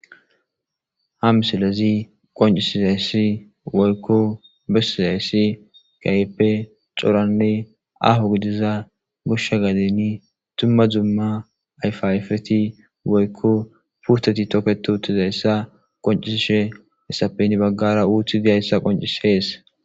ha misilezi qoncisizayssi woykko besizayssi kehipe coranne aho gidiza goshsha gadeni tumma zumma ayfaayfeti woykko purteti toketo utizayssa qoncisishe essapen baggara uuthi diayssa qoncis heese